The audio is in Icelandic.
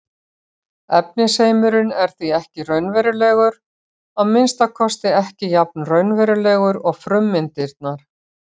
Efnisheimurinn er því ekki raunverulegur, að minnsta kosti ekki jafn raunverulegur og frummyndirnar.